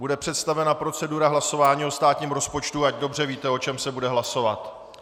Bude představena procedura hlasování o státním rozpočtu, ať dobře víte, o čem se bude hlasovat.